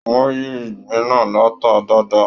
Wọn yí ìgbín náà lata dáadáa.